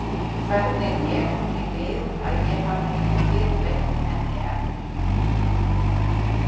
Hvernig vék því við að ég hafði ekki fyrr veitt henni eftirtekt?